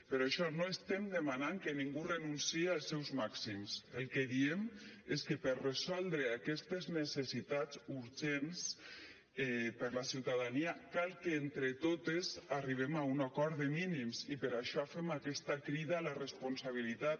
per això no estem demanant que ningú renunciï als seus màxims el que diem és que per resoldre aquestes necessitats urgents per a la ciutadania cal que entre totes arribem a un acord de mínims i per això fem aquesta crida a la responsabilitat